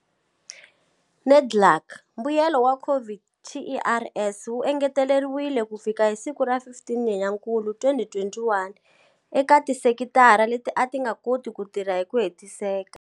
NEDLAC, mbuyelo wa COVID TERS wu engeteleriweke kufika hi siku ra 15 Nyenyankulu 2021 eka tisekitara leti a ti nga koti ku tirha hi ku hetiseka.